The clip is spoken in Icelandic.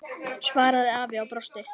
svaraði afi og brosti.